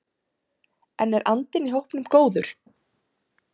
En er andinn í hópnum góður?